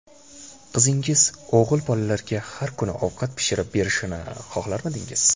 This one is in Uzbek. Qizingiz o‘g‘il bolalarga har kuni ovqat pishirib berishini xohlarmidingiz?